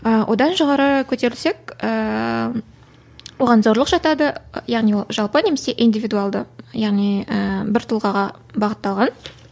ыыы одан жоғары көтерілсек ііі оған зорлық жатады яғни ол жалпы немесе индивидулды яғни ііі бір тұлғаға бағытталған